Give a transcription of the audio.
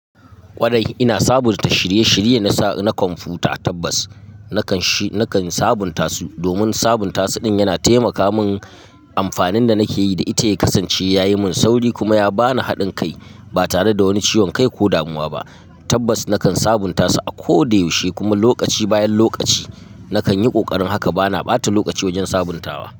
Kwarai ina sabunta shirye-shirye na sa na kwamfuta. Tabbas, na kan nakan sabunta su domin sabunta su ɗin yana taimaka min. Amfanin da nake yi da ita ya kasance ya yi min sauri kuma ya ba ni haɗin kai ba tare da wani ciwon kai ko damuwa ba. Tabbas nakan sabunta su a koda yaushe kuma lokaci bayan lokaci nakan yi ƙoƙarin haka. Bana ɓata lokaci wajen sabuntawa.